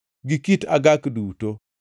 gi kit agak duto,